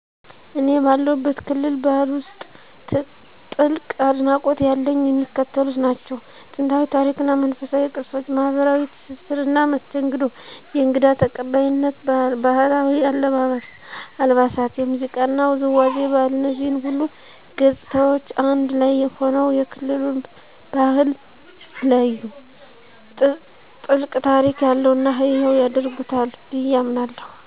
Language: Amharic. እኔ ባለሁበት ክልል ባህል ውስጥ ጥልቅ አድናቆት ያለኝ የሚከተሉት ናቸው፦ * ጥንታዊ ታሪክ እና መንፈሳዊ ቅርሶች * ማኅበራዊ ትስስርና መስተንግዶ * የእንግዳ ተቀባይነት ባህል: * ባህላዊ አልባሳት * የሙዚቃና ውዝዋዜ ባህል እነዚህ ሁሉ ገጽታዎች አንድ ላይ ሆነው የክልሉን ባህል ልዩ፣ ጥልቅ ታሪክ ያለውና ሕያው ያደርጉታል ብዬ አምናለሁ።